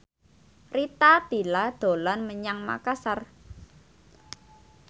Rita Tila dolan menyang Makasar